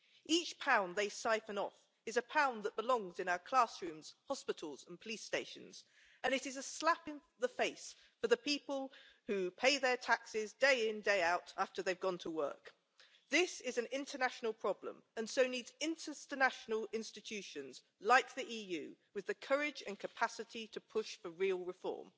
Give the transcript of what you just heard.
Each pound they siphon off is a pound that belongs in our classrooms, hospitals and police stations, and it is a slap in the face for the people who pay their taxes day in, day out, after they've gone to work. This is an international problem and so needs international institutions, like the EU, with the courage and capacity to push for real reform.